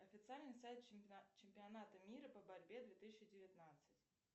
официальный сайт чемпионата мира по борьбе две тысячи девятнадцать